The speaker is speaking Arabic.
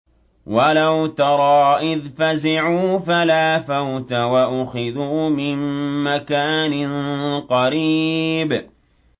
وَلَوْ تَرَىٰ إِذْ فَزِعُوا فَلَا فَوْتَ وَأُخِذُوا مِن مَّكَانٍ قَرِيبٍ